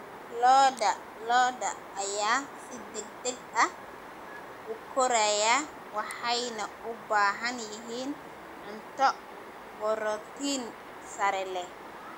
Lo'da lo'da ayaa si degdeg ah u koraya waxayna u baahan yihiin cunto borotiin sare leh.